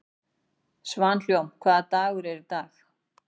Svanhólm, hvaða dagur er í dag?